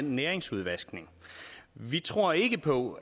næringsstofudvaskningen vi tror ikke på